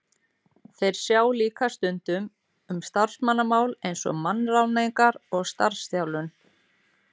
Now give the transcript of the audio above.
Þeir sjá líka stundum um starfsmannamál eins og mannaráðningar og starfsþjálfun.